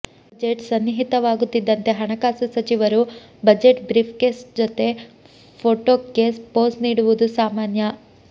budget ಸನ್ನಿಹಿತವಾಗುತ್ತಿದ್ದಂತೆ ಹಣಕಾಸು ಸಚಿವರು ಬಜೆಟ್ ಬ್ರೀಫ್ಕೇಸ್ ಜತೆ ಫೋಟೋಕ್ಕೆ ಪೋಸ್ ನೀಡುವುದು ಸಾಮಾನ್ಯ